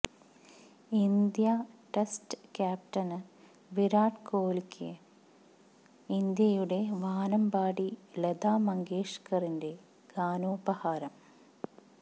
India test ക്യാപ്റ്റന് വിരാട് കോഹ്ലിക്ക് ഇന്ത്യയുടെ വാനമ്പാടി ലതാ മങ്കേഷ്കറിന്റെ ഗാനോപഹാരം